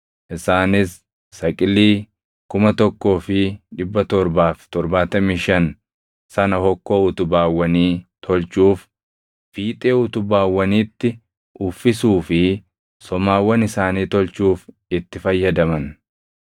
Isaanis saqilii 1,775 sana hokkoo utubaawwanii tolchuuf, fiixee utubaawwaniitti uffisuu fi somaawwan isaanii tolchuuf itti fayyadaman.